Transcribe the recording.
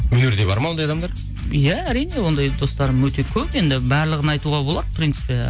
өнерде бар ма ондай адамдар иә әрине ондай достарым өте көп енді барлығын айтуға болады в принципе